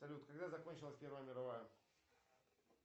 салют когда закончилась первая мировая